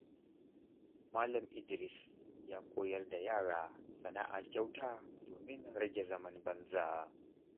Malam Idris ya koyar da yara sana’a kyauta domin rage zaman banza.